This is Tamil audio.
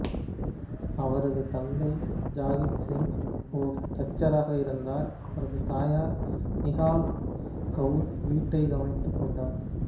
அவரது தந்தை ஜகத் சிங் ஒரு தச்சராக இருந்தார் அவரது தாயார் நிஹால் கவுர் வீட்டை கவனித்துக்கொண்டார்